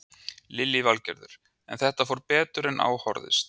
Lillý Valgerður: En þetta fór betur en á horfðist?